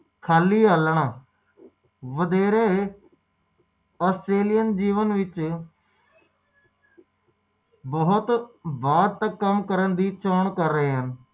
ਸੱਤ ਵਾਰੀ ਬੀਮਾ ਕਰਾਉਂਦਾ ਹੈ